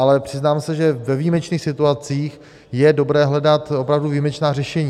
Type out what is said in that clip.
Ale přiznám se, že ve výjimečných situacích je dobré hledat opravdu výjimečná řešení.